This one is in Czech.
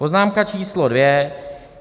Poznámka číslo dvě.